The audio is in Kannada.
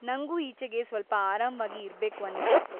ನಂಗೂ ಈಚೆಗೆ ಸ್ವಲ್ಪ ಆರಾಮ್ವಾಗಿ ಇರ್ಬೇಕು ಅನ್ನಿಸ್ತಿತ್ತು.